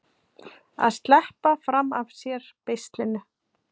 Að sleppa fram af sér beislinu